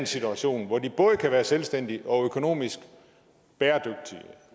situation hvor de både kan være selvstændige og økonomisk bæredygtige